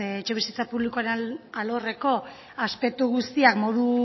etxebizitza publikoaren alorreko aspektu guztiak modu